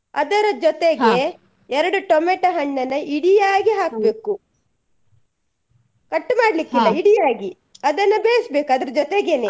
ಅದರ ಎರಡು tomato ಹಣ್ಣನ್ನಾ ಇಡಿಯಾಗಿ cut ಇಡಿಯಾಗಿ ಅದನ್ನ ಬೇಯಿಸ್ಬೇಕು ಅದ್ರ .